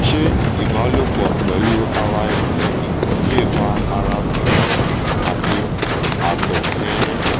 ṣe iba lopọ̀ pẹ̀lu ara ẹni le fa ara tinrin ati ato tinrin?